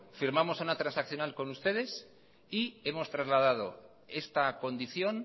firmamos una transaccional con ustedes y hemos trasladado esta condición